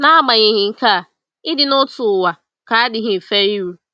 N’agbanyeghị nke a, ịdị n’otu ụwa ka adịghị mfe iru.